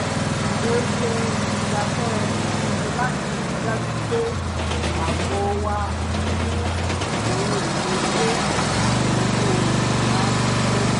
mo yẹ ìgbáfẹ́ ìsinmi láti rí i dájú pé ààbò wà fún ohun éló ilé àti owó ìyálégbé